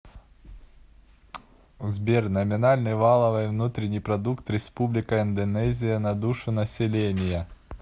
сбер номинальный валовой внутренний продукт республика индонезия на душу населения